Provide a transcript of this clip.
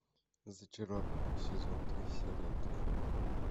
зачарованные сезон три серия три